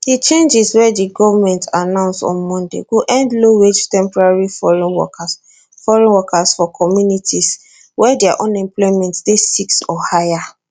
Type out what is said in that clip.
di changes wey di goment announce on monday go end lowwage temporary foreign workers foreign workers for communities wey dia unemployment dey 6 or higher